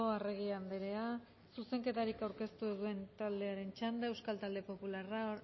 arregi andrea zuzenketarik aurkeztu ez duen taldearen txanda euskal talde popularra